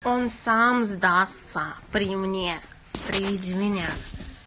он сам сдастся при мне приведи меня